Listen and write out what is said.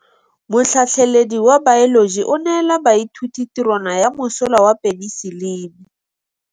Motlhatlhaledi wa baeloji o neela baithuti tirwana ya mosola wa peniselene.